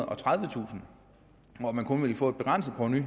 og tredivetusind og at man kun ville få et begrænset provenu i